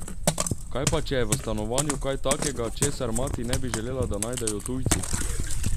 Kaj pa, če je v stanovanju kaj takega, česar mati ne bi želela, da najdejo tujci?